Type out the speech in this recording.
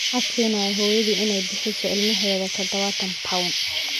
Maxaa keenaya hooyadii in ay bixiso ilmaheeda dadawatan pond.